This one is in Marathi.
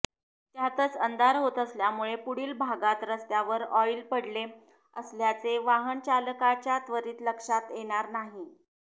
त्यातच अंधार होत असल्यामुळे पुढील भागात रस्त्यावर ऑईल पडले असल्याचे वाहनचालकाच्या त्वरित लक्षात येणार नाही